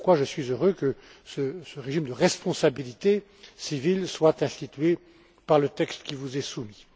Et voilà pourquoi je suis heureux que ce régime de responsabilité civile soit institué par le texte qui vous est soumis.